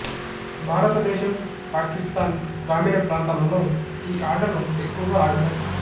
భారతదేశం పాకిస్తాన్ గ్రామీణ ప్రాంతాలలో ఈ ఆటను ఎక్కువగా ఆడతారు